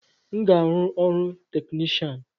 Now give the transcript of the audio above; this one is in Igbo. M ga-arụ ọrụ technishan